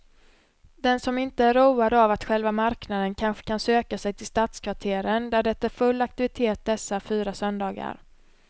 Den som inte är road av att själva marknaden kanske kan söka sig till stadskvarteren där det är full aktivitet dessa fyra söndagar.